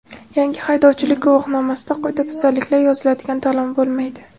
Yangi haydovchilik guvohnomasida qoidabuzarliklar yoziladigan talon bo‘lmaydi.